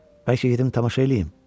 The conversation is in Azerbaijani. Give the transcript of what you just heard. Bəlkə gedim tamaşa eləyim?